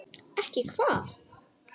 Ekki hvað?